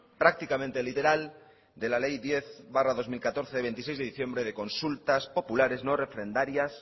prácticamente literal de la ley diez barra dos mil catorce de veintiséis de diciembre de consultas populares no refrendarias